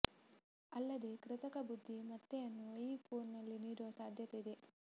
ಅಲ್ಲದೇ ಕೃತಕ ಬುದ್ದಿ ಮತ್ತೆಯನ್ನು ಈ ಫೋನಿನಲ್ಲಿ ನೀಡುವ ಸಾಧ್ಯತೆ ಇದೆ